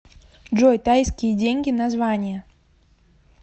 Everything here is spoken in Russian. джой тайские деньги название